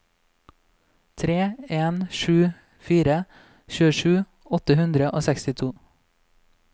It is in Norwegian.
tre en sju fire tjuesju åtte hundre og sekstito